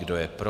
Kdo je pro?